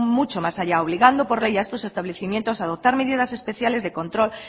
mucho más allá obligando por ley a estos establecimientos a adoptar medidas especiales de control